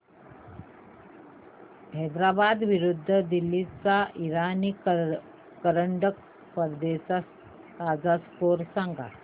हैदराबाद विरुद्ध दिल्ली च्या इराणी करंडक स्पर्धेचा ताजा स्कोअर सांगा